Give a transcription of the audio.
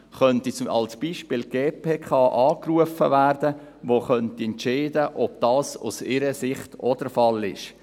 Dann könnte als Beispiel die GPK angerufen werden, die entscheiden könnte, ob das aus ihrer Sicht auch der Fall ist.